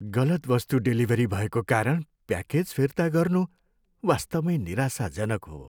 गलत वस्तु डेलिभरी भएको कारण प्याकेज फिर्ता गर्नु वास्तवमै निराशाजनक हो।